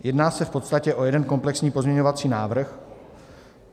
Jedná se v podstatě o jeden komplexní pozměňovací návrh.